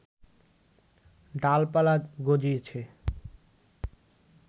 ডালপালা গজিয়েছে